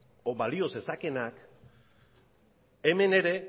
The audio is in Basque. edo balio zezakeenak hemen ere